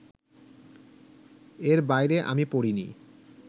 এর বাইরে আমি পড়িনি